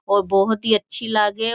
और बहुत ही अच्छी लागे --